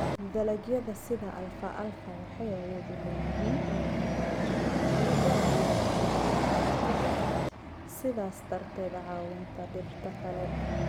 Dalagyada sida alfalfa waxay awood u leeyihiin inay hagaajiyaan ciidda iyagoo ku daraya nitrogen, sidaas darteed caawinta dhirta kale.